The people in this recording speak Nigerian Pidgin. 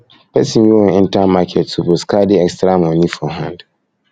pesin wey wan enter market suppose carry extra moni for hand